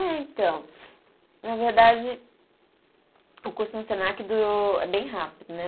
É, então. Na verdade, o curso no Senac durou. É bem rápido, né?